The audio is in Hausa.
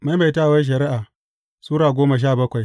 Maimaitawar Shari’a Sura goma sha bakwai